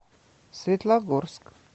светлогорск